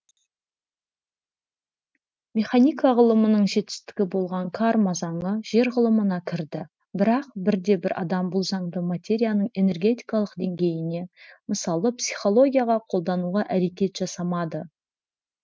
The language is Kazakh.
механика ғылымының жетістігі болған карма заңы жер ғылымына кірді бірақ бірде бір адам бұл заңды материяның энергетикалық деңгейіне мысалы психологияға қолдануға әрекет жасамады